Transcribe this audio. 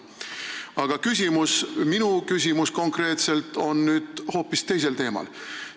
Aga minu konkreetne küsimus on hoopis teisel teemal.